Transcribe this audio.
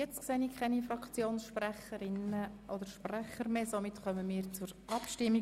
Es gibt keine weiteren Wortmeldungen, somit kommen wir zur Abstimmung.